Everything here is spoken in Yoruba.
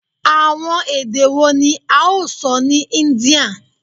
Awọn ede wo ni a o sọ ni India?